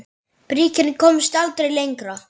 Bríkin komst aldrei lengra.